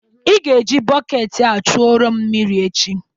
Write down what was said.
Ị ga-eji bọket a chuoro m mmiri echi.